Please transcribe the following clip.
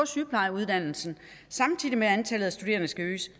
sygeplejeuddannelsen samtidig med at antallet af studerende skal øges